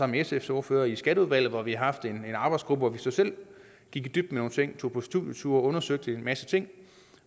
med sfs ordfører i skatteudvalget hvor vi har haft en arbejdsgruppe hvor vi så selv gik i dybden med nogle ting tog på studieture og undersøgte en masse ting